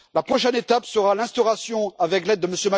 La prochaine étape sera l'instauration, avec l'aide de M.